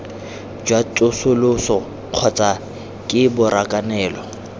jwa tsosoloso kgotsa ke borakanelo